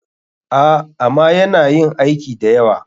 A,ama yana yin aiki dayawa.